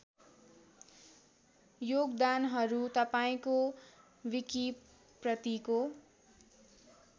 योगदानहरू तपाईँको विकिप्रतिको